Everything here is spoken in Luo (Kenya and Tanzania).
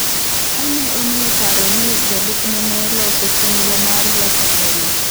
Ka ne omiyo paro ni jolupne ne loso chenro mar loko telo.